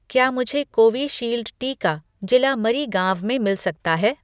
क्या मुझे कोविशील्ड टीका जिला मरीगांव में मिल सकता है